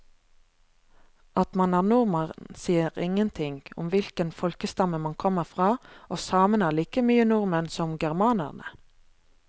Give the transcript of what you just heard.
At man er nordmann sier ingenting om hvilken folkestamme man kommer fra, og samene er like mye nordmenn som germanerne.